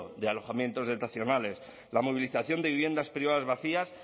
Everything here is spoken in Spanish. de alojamientos dotacionales la movilización de viviendas privadas vacías